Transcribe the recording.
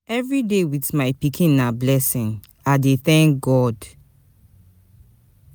Everyday wit my pikin na blessing, I dey tank God.